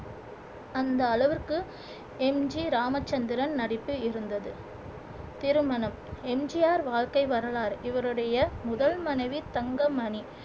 அந்த அளவிற்கு M G Ramachandran நடிப்பில் இருந்தது திருமணம் எம் ஜி ஆர் வாழ்க்கை வரலாறு இவருடைய முதல் மனைவி தங்கமணி